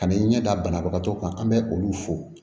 Ka n'i ɲɛ da banabagatɔ kan an bɛ olu fo